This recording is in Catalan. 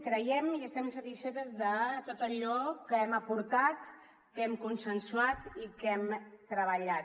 creiem i estem satisfetes de tot allò que hem aportat que hem consensuat i que hem treballat